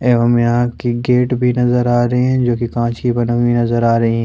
एवम यहां की गेट भी नजर आ रहे हैं जो की कांच की बनी हुई नजर आ रही है।